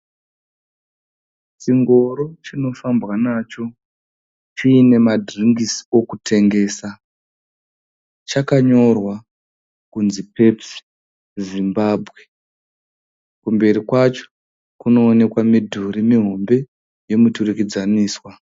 Chingoro chinofambwa nacho chine madhiringisi okutengesa. Chakanyorwa kuti pepusi Zimbabwe. Kumberi kwacho kunoonekwa midhuri mihombe yemiturikidzaniswa.